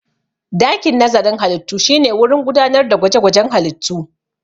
Dakin nazarin halittu shine wurin gudanar da gwaje-gwajen halittu.